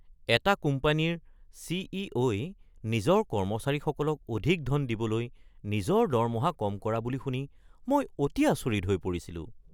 এটা কোম্পানীৰ চি.ই.অ.’ই নিজৰ কৰ্মচাৰীসকলক অধিক ধন দিবলৈ নিজৰ দৰমহা কম কৰা বুলি শুনি মই অতি আচৰিত হৈ পৰিছিলোঁ।